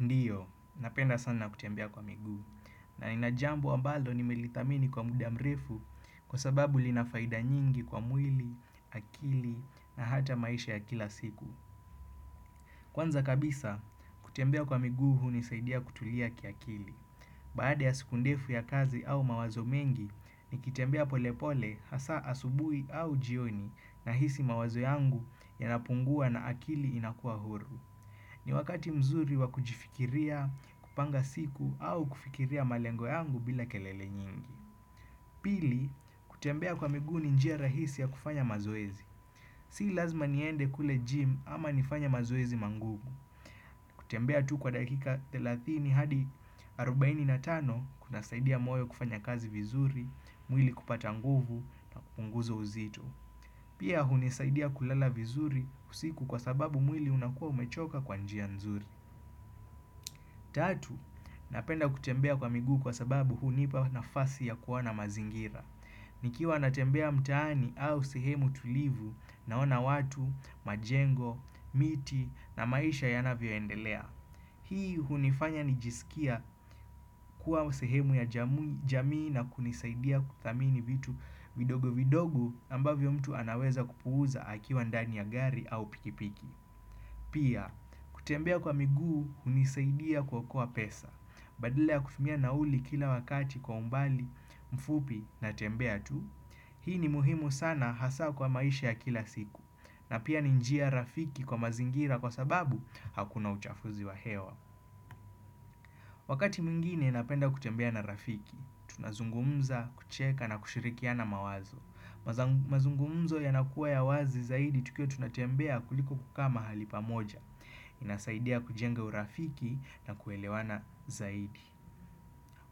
Ndiyo, napenda sana kutembea kwa miguu na ina jambo ambalo nimelithamini kwa muda mrefu kwa sababu lina faida nyingi kwa mwili, akili na hata maisha ya kila siku. Kwanza kabisa, kutembea kwa miguu hunisaidia kutulia kiakili. Baada ya siku ndefu ya kazi au mawazo mengi, nikitembea pole pole hasa asubuhi au jioni nahisi mawazo yangu yanapungua na akili inakua huru. Ni wakati mzuri wa kujifikiria, kupanga siku au kufikiria malengo yangu bila kelele nyingi. Pili, kutembea kwa miguu ni njia rahisi ya kufanya mazoezi. Si lazima niende kule gym ama nifanye mazoezi mangugu. Kutembea tu kwa dakika 30 hadi 45 kunasaidia moyo kufanya kazi vizuri, mwili kupata nguvu na kupunguza uzito. Pia hunisaidia kulala vizuri usiku kwa sababu mwili unakuwa umechoka kwa njia nzuri. Tatu, napenda kutembea kwa miguu kwa sababu hunipa nafasi ya kuona mazingira. Nikiwa natembea mtaani au sehemu tulivu naona watu, majengo, miti na maisha yanavyoendelea. Hii hunifanya nijisikia kuwa sehemu ya jamii na kunisaidia kuthamini vitu vidogo vidogo ambavyo mtu anaweza kupuuza akiwa ndani ya gari au pikipiki. Pia, kutembea kwa miguu hunisaidia kuokoa pesa. Badala ya kutumia nauli kila wakati kwa umbali, mfupi natembea tu Hii ni muhimu sana hasa kwa maisha ya kila siku na pia ninjia rafiki kwa mazingira kwa sababu hakuna uchafuzi wa hewa Wakati mwengine napenda kutembea na rafiki Tunazungumza, kucheka na kushirikiana mawazo mazungumzo yanakuwa ya wazi zaidi tukiwa tunatembea kuliko kukaa mahali pamoja inasaidia kujenga urafiki na kuelewana zaidi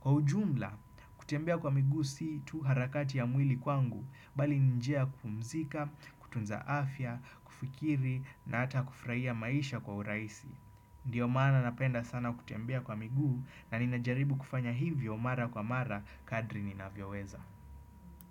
Kwa ujumla, kutembea kwa miguu si tu harakati ya mwili kwangu, bali ni njia ya kupumzika, kutunza afya, kufikiri na hata kufraia maisha kwa uraisi. Ndiyo maana napenda sana kutembea kwa miguu na ninajaribu kufanya hivyo mara kwa mara kadri ninavyoweza.